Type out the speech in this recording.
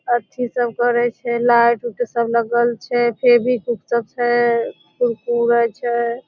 अथी सब करय छै लाइट उट सब लगल छै फेवी-क्विक सब छै कुर-कुरे छै।